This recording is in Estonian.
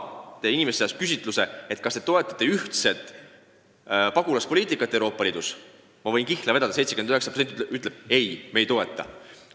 Kui inimeste käest küsitakse, kas nad toetavad ühist pagulaspoliitikat Euroopa Liidus, siis ma võin kihla vedada, et 79% ütleb: ei, ei toeta.